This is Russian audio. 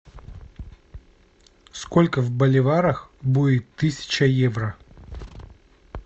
сколько в боливарах будет тысяча евро